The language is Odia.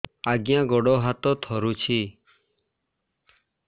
ଆଜ୍ଞା ଗୋଡ଼ ହାତ ଥରୁଛି